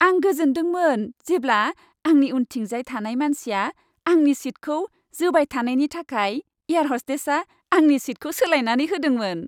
आं गोजोनदोंमोन जेब्ला आंनि उनथिंजाय थानाय मानसिया आंनि सीटखौ जोबाय थानायनि थाखाय एयार हस्टेसआ आंनि सीटखौ सोलायनानै होदोंमोन।